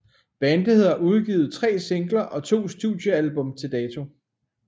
Bandet har udgivet 3 singler og to studie album til dato